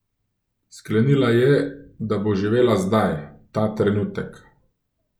Sklenila je, da bo živela zdaj, ta trenutek.